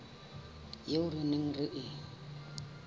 eo re neng re e